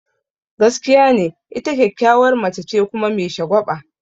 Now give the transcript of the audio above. Gaskiya ne, ita kyakkyawar mace ce kuma me shagwaba.